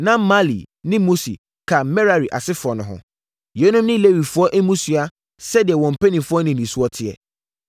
Na Mahli ne Musi ka Merari asefoɔ no ho. Yeinom ne Lewifoɔ mmusua sɛdeɛ wɔn mpanimfoɔ nnidisoɔ teɛ.